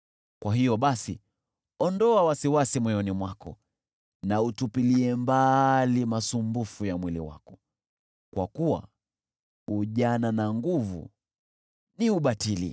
Kwa hiyo basi, ondoa wasiwasi moyoni mwako na utupilie mbali masumbufu ya mwili wako, kwa kuwa ujana na nguvu ni ubatili.